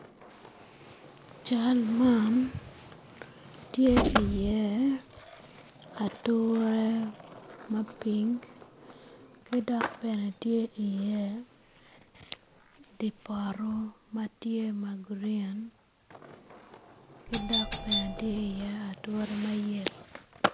Cal man tye i iye ature mapiny ki dok bene tye i iye dye poto matye gurin ki dok bene tye i iye ature mayelo